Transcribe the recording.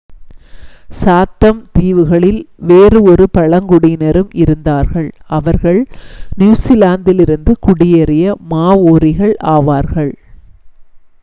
சாத்தம் தீவுகளில் வேறு ஒரு பழங்குடியினரும் இருந்தார்கள் அவர்கள் நியூஸிலாந்திலிருந்து குடியேறிய மாவோரிக்கள் ஆவார்கள்